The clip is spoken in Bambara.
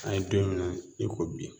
An ye don min na i ko bi